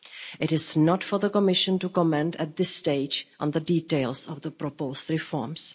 It is not for the Commission to comment at this stage on the details of the proposed reforms.